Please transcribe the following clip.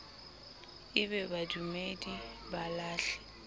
e be badumedi ba lahle